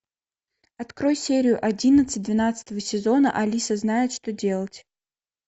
открой серию одиннадцать двенадцатого сезона алиса знает что делать